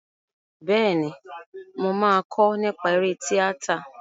Bẹ́ẹ̀ni, mo máa kọ́ nípa eré tíátà.